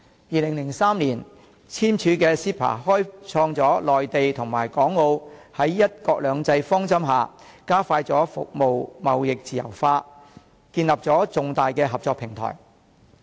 2003年簽署的 CEPA 開創了內地與港澳在"一國兩制"方針下，加快服務貿易自由化、建立重大合作平台。